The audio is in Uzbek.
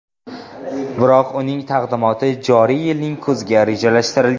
Biroq uning taqdimoti joriy yilning kuziga rejalashtirilgan.